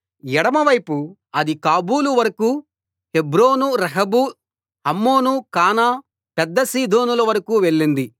ఎడమవైపు అది కాబూలు వరకూ హెబ్రోను రెహోబు హమ్మోను కానా పెద్ద సీదోనుల వరకూ వెళ్ళింది